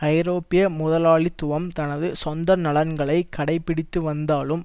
ஐரோப்பிய முதலாளித்துவம் தனது சொந்த நலன்களை கடைப்பிடித்து வந்தாலும்